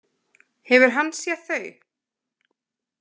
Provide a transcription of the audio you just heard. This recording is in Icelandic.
Hefur hann séð þau?